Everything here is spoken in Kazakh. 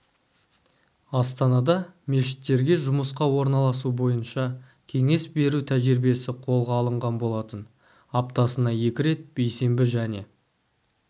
астанада мешіттерде жұмысқа орналасу бойынша кеңес беру тәжірибесі қолға алынған болатын аптасына екі рет бейсенбі және